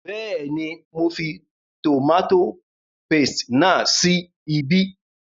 Bẹ́ẹ̀ni, mo fi tòmátò paste náà sí ibí